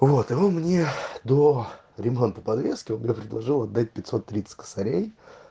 вот и он мне до ремонта подвески он мне предложил отдать пятьсот тридцать косарей